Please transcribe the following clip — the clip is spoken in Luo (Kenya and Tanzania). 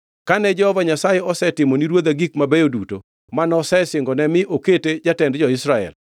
Kane Jehova Nyasaye osetimo ni ruodha gik mabeyo duto manosingone mi okete jatend jo-Israel,